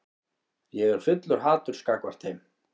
Ég er fullur haturs gagnvart þeim.